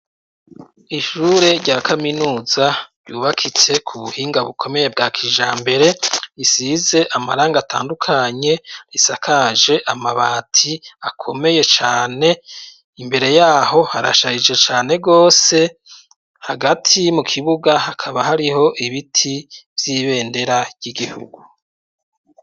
Ishure rya kaminuza ryubakitse ku buhinga bukomeye bwa kijambere, isize amarangi atandukanye risakaje amabati akomeye cane, imbere yaho harashajije cane gose, hagati mu kibuga hakaba hariho ibiti vy’ibendera ry’igihugu.